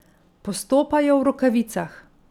Postopajo v rokavicah.